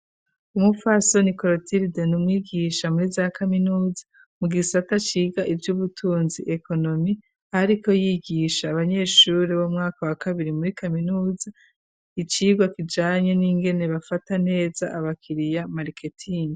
Umupfasoni Korotiride nUmwigisha muri za kaminuza mu gisata ciga ivy'ubutunzi ekonomi .Ariko yigisha abanyeshuri b'umwaka wa kabiri muri kaminuza icirwa kijanye n'ingene bafata neza abakiriya mariketingi.